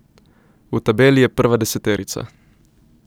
V tabeli je prva deseterica.